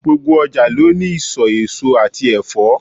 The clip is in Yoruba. Gbogbo ọjà ló ní ìsò èso àti Ẹ̀fọ́.